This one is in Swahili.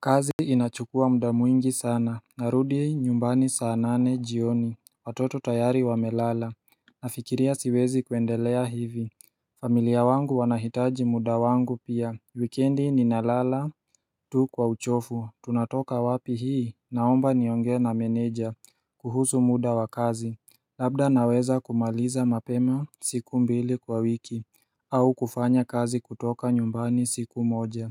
Kazi inachukua muda mwingi sana. Narudi nyumbani saa nane jioni, watoto tayari wamelala. Nafikiria siwezi kuendelea hivi familia wangu wanahitaji muda wangu pia. Weekendi ninalala tu kwa uchovu, tunatoka wapi hii? Naomba niongee na meneja kuhusu muda wa kazi Labda naweza kumaliza mapema siku mbili kwa wiki au kufanya kazi kutoka nyumbani siku moja